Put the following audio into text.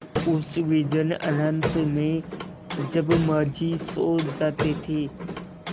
उस विजन अनंत में जब माँझी सो जाते थे